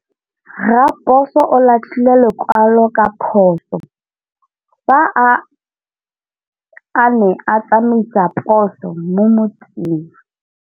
Raposo o latlhie lekwalô ka phosô fa a ne a tsamaisa poso mo motseng.